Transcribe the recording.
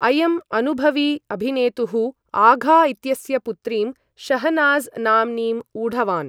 अयम् अनुभवी अभिनेतुः आघा इत्यस्य पुत्रीं शाहनाज् नाम्नीम् ऊढवान्।